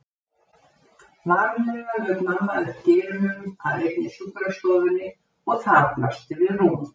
Varlega lauk mamma upp dyrunum á einni sjúkrastofunni og þar blasti við rúm.